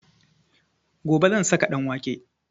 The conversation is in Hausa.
Gobe zan saka ɗanwake